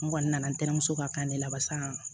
N kɔni nana n tɛna muso ka kan de laban